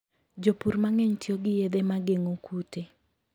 Jopur mang'eny tiyo gi yedhe ma geng'o kute.